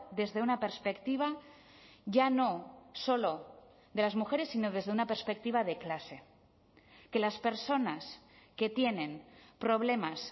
desde una perspectiva ya no solo de las mujeres sino desde una perspectiva de clase que las personas que tienen problemas